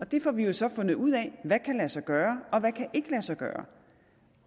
og det får vi jo så fundet ud af hvad kan lade sig gøre og hvad kan ikke lade sig gøre